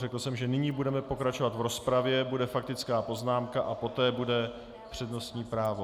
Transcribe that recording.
Řekl jsem, že nyní budeme pokračovat v rozpravě, bude faktická poznámka a poté bude přednostní právo.